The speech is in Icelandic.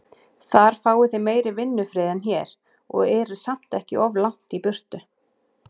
Þar fáið þið meiri vinnufrið en hér, og eruð samt ekki of langt í burtu.